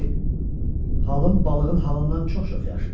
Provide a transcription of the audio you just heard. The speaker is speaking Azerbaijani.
Çünki halım balığın halından çox-çox yaxşıdır.